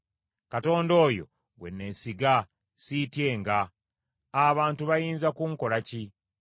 Katonda oyo gwe neesiga, siityenga. Abantu bayinza kunkolako ki?